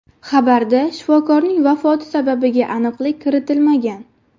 Xabarda shifokorning vafoti sababiga aniqlik kiritilmagan.